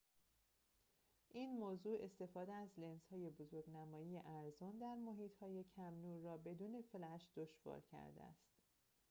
این موضوع استفاده از لنزهای بزرگ‌نمایی ارزان در محیط‌های کم‌نور را بدون فلش دشوار کرده است